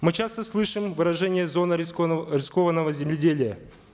мы часто слышим выражение зона рискованного земледелия